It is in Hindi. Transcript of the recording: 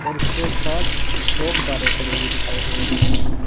उसके पास दो कारें खड़ी हुई दिखाई दे रही हैं।